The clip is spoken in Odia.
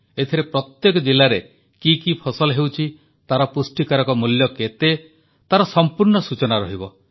ଏଥିରେ ପ୍ରତ୍ୟେକ ଜିଲାରେ କି କି ଫସଲ ହେଉଛି ତାର ପୁଷ୍ଟିକାରକ ମୂଲ୍ୟ କେତେ ତାର ସମ୍ପୂର୍ଣ୍ଣ ସୂଚନା ରହିବ